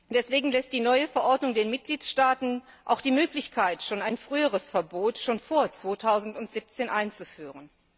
Deswegen lässt die neue Verordnung den Mitgliedstaaten auch die Möglichkeit, ein früheres Verbot schon vor 2017 einzuführen.